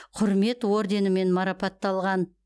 құрмет орденімен марапатталған